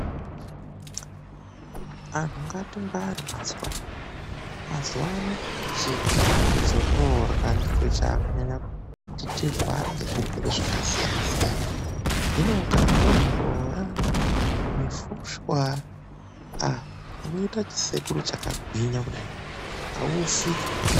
ANHU NGATINGWARE MAZUVANO, MAZUVANO CHIKAFU CHATAKURYA NDICHO CHAKUNYANYA KUTI TIRWARE NEZVIRWERE ZVAKASIYANA SIYANA HINO UKARYAWO MUBOORA MUFUSHWA AH UNOITE CHISEKURU CHAKAGWINYA KUDAI HAUFI .